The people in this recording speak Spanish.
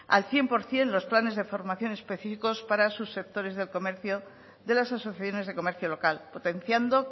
al cien por ciento los planes de formación específicos para subsectores del comercio de las asociaciones de comercio local potenciando